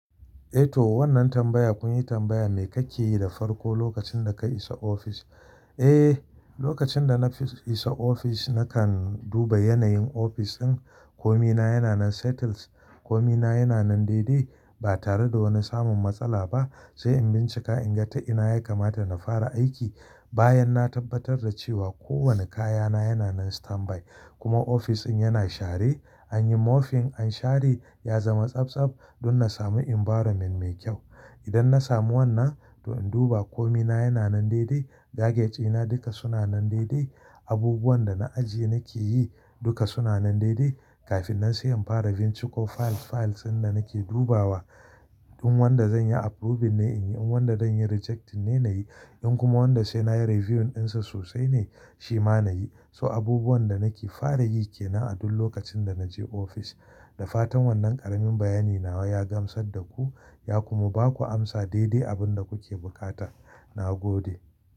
Eh to wannan tambaya kun yi tambaya me kake yi da farko lokacin da ka isa ofis? Eh, lokacin da na fa isa ofis nakan duba yanayin ofis ɗin. Komi na yana nan settled, komi na yana nan daidai ba tare da wani samun matsala ba. Sai in bincika in ga ta'ina ya kamata na fara aiki bayan na tabbatar da cewa kowane kayana yana nan standby kuma ofis ɗin yana share. An yi mopping, an share, ya zama tsabtsab don na samu environment mai kyau. Idan na samu wannan, to in duba komi na yana nan daidai, gadgets ɗina duka suna nan daidai, abubuwan da na ajiye nake yi duka suna nan daidai kafin na sai in fara binciko files. Files ɗin da nake dubawa, in wadda zan yi approving ne in yi, in wadda zan yi rejecting ne na yi, in kuma wadda sai na yi reviewing ɗinsa sosai ne shi ma na yi. So abubuwan da nake fara yi ke nan a duk lokacin da na je ofis. Da fatan wannan ƙaramin bayani nawa ya gamsar da ku, ya kuma ba ku amsa daidai abin da kuke buƙata. Na gode.